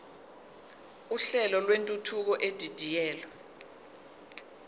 uhlelo lwentuthuko edidiyelwe